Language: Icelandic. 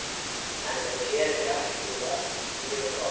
Enda gerir Berti það líka mjög gott.